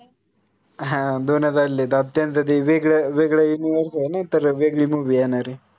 हां दोनच आले ते वेगळं वेगळं तर वेगळी movie येनाराय